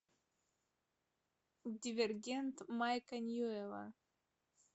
дивергент майкла ньюэлла